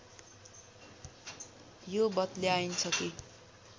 यो बतल्याइन्छ कि